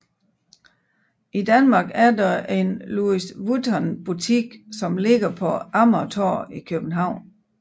I Danmark er der en Louis Vuitton butik som ligger på Amagertorv i København